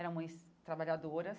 Eram mães trabalhadoras.